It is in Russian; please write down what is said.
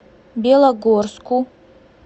белогорску